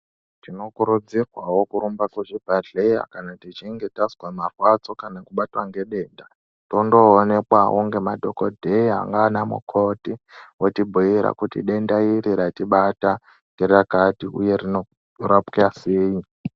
Tinokurudzirwawo kurumba kuzvibhedhlera kana tichinge tazwa marwadzo kana kubatwa ngedenda. Tondonekwawo ngema dhokodheya nana mukoti votibhuyira kuti denda iri ratibata nderakati uye rinorapwa sei.